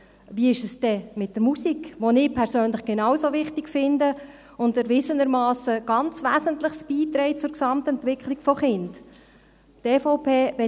Wie ist es mit der Musik, die ich persönlich genauso wichtig finde und die erwiesenermassen ganz Wesentliches zur Gesamtentwicklung von Kindern beiträgt?